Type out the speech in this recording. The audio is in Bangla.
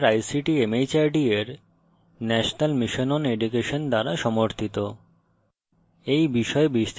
এটি ভারত সরকারের ict mhrd এর national mission on education দ্বারা সমর্থিত